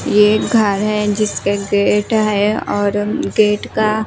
ये घर है जिसके गेट है और गेट का--